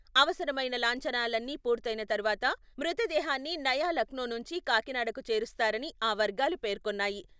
అవసరమైన లాంఛనాలన్నీ పూర్తయిన తరువాత, మృతదేహాన్ని నయా లక్నో నుంచి కాకినాడకు చేరుస్తారని ఆ వర్గాలు పేర్కొన్నాయి.